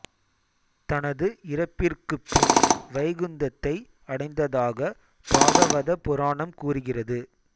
தனது இறப்பிற்குப் பின் வைகுந்தத்தை அடைந்ததாகப் பாகவத புராணம் கூறுகிறது